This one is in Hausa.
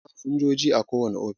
Akwai masinjoji a kowane ofis